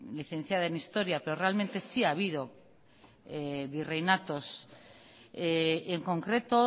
licenciada en historia pero realmente sí ha habido virreinatos y en concreto